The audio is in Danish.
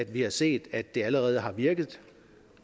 vi har set at det allerede har virket